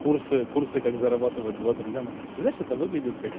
курсы курсы как зарабатывать два три ляма ты знаешь это выглядит как